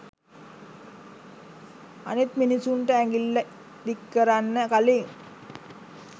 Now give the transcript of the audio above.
අනිත් මිනිස්සුන්ට ඇඟිල්ල දික් කරන්න කළින්